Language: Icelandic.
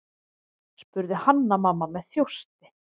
spurði Hanna-Mamma með þjósti.